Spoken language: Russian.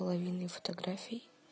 половиной фотографий